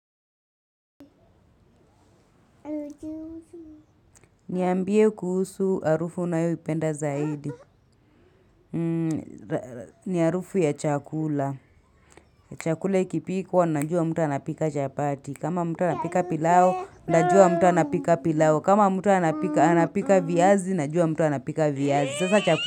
Niambie kuhusu harufu unayoipenda zaidi. Ni harufu ya chakula. Chakula kikipikwa, najua mtu anapika chapati. Kama mtu anapika pilau, najua mtu anapika pilau. Kama mtu anapika viazi, najua mtu anapika viazi.